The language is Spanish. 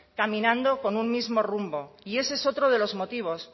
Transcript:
caminando con un mismo rumbo y ese es otro de los motivos